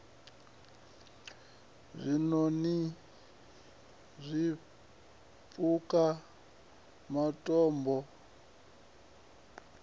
zwiṋoni zwipuka matombo n z